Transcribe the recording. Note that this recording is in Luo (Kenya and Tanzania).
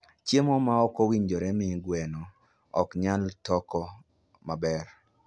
Chiemo ma ok owinjore miyo gweno ok nyal toko maber.